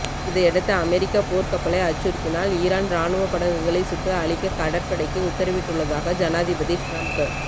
இதையடுத்து அமெரிக்க போர்க்கப்பலை அச்சுறுத்தினால் ஈரான் ராணுவ படகுகளை சுட்டு அழிக்க கடற்படைக்கு உத்தரவிட்டுள்ளதாக ஜனாதிபதி டிரம்ப்